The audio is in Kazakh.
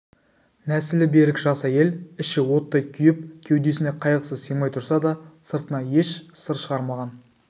нәсілі берік жас әйел іші оттай күйіп кеудесіне қайғысы сыймай тұрса да сыртына еш сыр шығармаған